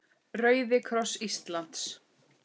Rauði kross Íslands